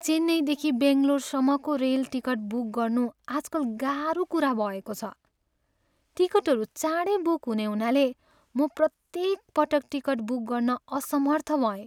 चेन्नईदेखि बङ्गलोरसम्मको rail ticket book गर्नु आजकल गाह्रो कुरा भएको छ। टिकटहरू चाँडै बुक हुने हुनाले म प्रत्येक पटक टिकट बुक गर्न असमर्थ भएँ।